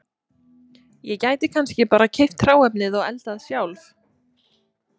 Ég gæti kannski bara keypt hráefnið og eldað sjálf